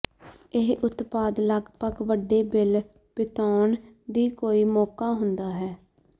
ਇਹ ਉਤਪਾਦ ਲਗਭਗ ਵੱਡੇ ਬਿੱਲ ਬਿਤਾਉਣ ਦੀ ਕੋਈ ਮੌਕਾ ਹੁੰਦਾ ਹੈ